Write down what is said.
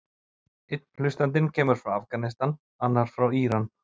Einn hlustandinn kemur frá Afganistan, annar frá Íran.